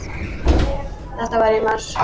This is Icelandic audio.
Þetta var í mars.